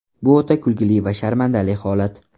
Bu o‘ta kulgili va sharmandali holat.